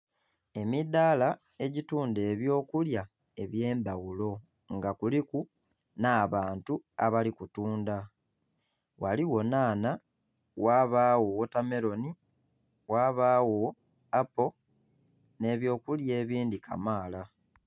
Emidaala egitundha ebyokulya ebyendhaghulo nga kuliku n'abantu abali kutundha ghaligho nhanha, ghabagho wota meroni, ghabagho appo n'ebyokulya ebindhi kamaala.